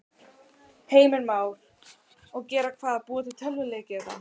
Heimir Már: Og gera hvað, búa til tölvuleiki eða?